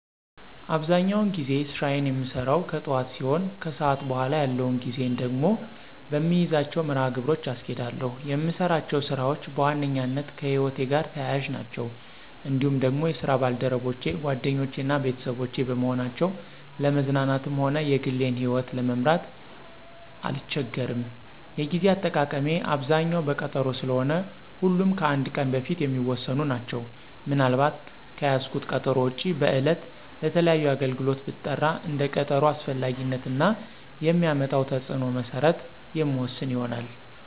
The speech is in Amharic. አብዛኛውን ጊዜ ስራየን የምሰራው ከጥዋት ሲሆን ከሰዓት በኋላ ያለውን ጊዜየን ደግሞ በምይዛቸው መርሀ ግብሮች አስኬዳለሁ። የምሰራቸው ስራዎች በዋነኛነት ከህይወቴ ጋር ተያያዥ ናቸው። እንዲሁም ደግሞ የስራ ባልደረቦቼ ጓደኞቼ እና ቤተሰቦቼ በመሆናቸው ለመዝናናትም ሆነ የግሌን ይህወት ለመምራት አልቸገርም። የጌዜ አጠቃቀሜ አብዛኛው በቀጠሮ ስለሆነ ሁሉም ከአንድ ቀን በፊት የሚወሰኑ ናቸው። ምን አልባት ከያዝኩት ቀጠሮ ውጭ በዕለት ለተለያዩ አገልግሎት ብጠራ እንደ ቀጠሮው አስፈላጊነት እና የሚያመጣው ተፅዕኖ መሰረት የምወስን ይሆናል።